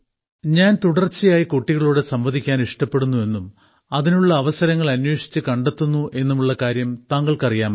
ഞാൻ തുടർച്ചയായി കുട്ടികളോട് സംവദിക്കാൻ ഇഷ്ടപ്പെടുന്നു എന്നും അതിനുള്ള അവസരങ്ങൾ അന്വേഷിച്ചു കണ്ടെത്തുന്നു എന്നുമുള്ള കാര്യം താങ്കൾക്ക് അറിയാമല്ലോ